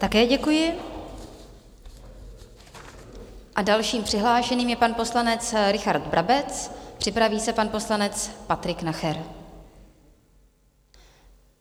Také děkuji a dalším přihlášeným je pan poslanec Richard Brabec, připraví se pan poslanec Patrik Nacher.